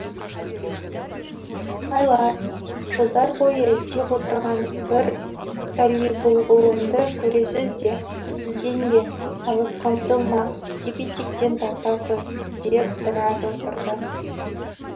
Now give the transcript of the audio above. айлар жылдар бойы іздеп отырған бір талибұлғылымды көресіз де ізденбе алысқа ұмтылма деп етектен тартасыз деп біраз отырды